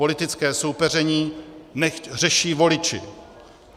Politické soupeření nechť řeší voliči.